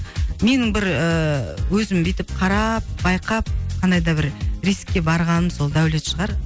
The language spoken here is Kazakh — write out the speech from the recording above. менің бір ііі өзім бүйтіп қарап байқап қандай да бір рискке барғаным сол дәулет шығар